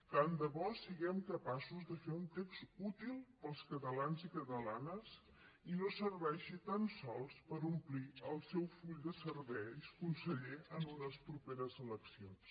tant de bo siguem capaços de fer un text útil per als catalans i catalanes i no serveixi tan sols per omplir el seu full de serveis conseller en unes properes eleccions